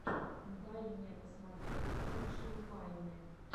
дай мне посмотреть лучшие вайны